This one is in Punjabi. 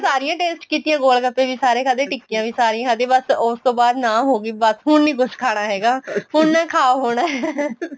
ਸਾਰੀਆਂ taste ਕੀਤੀਆਂ ਗੋਲ ਗੱਪੇ ਵੀ ਸਾਰੇ ਖਾਦੇਂ ਟਿੱਕੀਆਂ ਵੀ ਸਾਰੀਆਂ ਖਾਦੀਆਂ ਬੱਸ ਉਸ ਤੋ ਬਾਅਦ ਨਾ ਹੋਗੀ ਬੱਸ ਹੁਣ ਨਹੀਂ ਕੁੱਛ ਖਾਣਾ ਹੈਗਾ ਹੁਣ ਨਾ ਖਾ ਹੋਣਾ